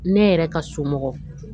Ne yɛrɛ ka somɔgɔ